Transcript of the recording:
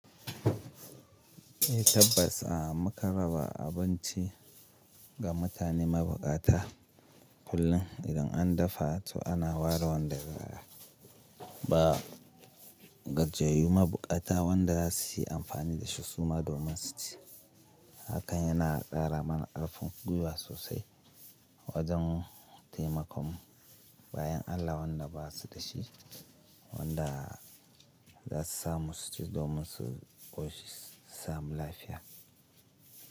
Tabbas makan raba abinci ga mutane mabukata kullum idan an dafa to ana ware wanda ba, gajiyayyu mabukata wanda za su yi amfani da shi su ma domin su ci. Hakan yana kara mana karfin gwiwa sosai wajen taimakon bayin Allah wanda ba su da shi, wanda za su samu su ci domin su ƙoshi su samu lafiya.